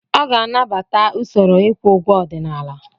Ọ ga-anabata usoro ịkwụ ụgwọ ọdịnala.